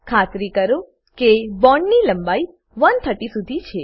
ખાતરી કરો કે બોન્ડ ની લંબાઈ 130 શુધી છે